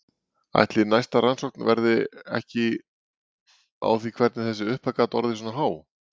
Ætli næsta rannsókn verði ekki á því hvernig þessi upphæð gat orðið svona há?